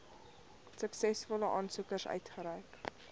suksesvolle aansoekers uitgereik